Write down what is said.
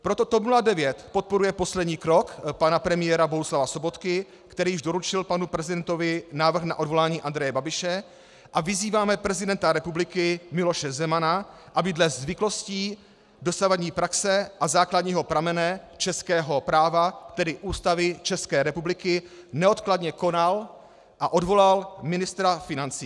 Proto TOP 09 podporuje poslední krok pana premiéra Bohuslava Sobotky, který již doručil panu prezidentovi návrh na odvolání Andreje Babiše, a vyzýváme prezidenta republiky Miloše Zemana, aby dle zvyklostí, dosavadní praxe a základního pramene českého práva, tedy Ústavy České republiky, neodkladně konal a odvolal ministra financí.